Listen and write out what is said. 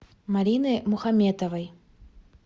марины мухаметовой